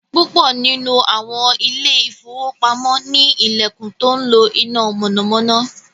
púpọ nínú awọn Ilé ìfowópamọ́ ni ilẹkùn tó ńlo iná mọ̀nàmọ́ná